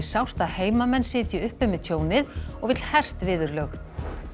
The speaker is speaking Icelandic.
sárt að heimamenn sitji uppi með tjónið og vill hert viðurlög